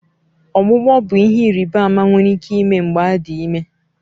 Ọgbụgbọ bụ ihe ịrịba ama nwere ike ime mgbe adị ime